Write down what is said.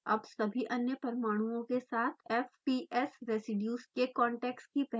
अब सभी अन्य परमाणुओं के साथ fps रेसीड्यूज़ के contacts की पहचान करें